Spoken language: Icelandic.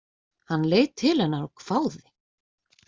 Hann leit til hennar og hváði.